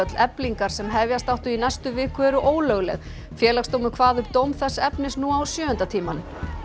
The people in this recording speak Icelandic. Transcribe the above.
Eflingar sem hefjast áttu í næstu viku eru ólögleg Félagsdómur kvað upp dóm þess efnis nú á sjöunda tímanum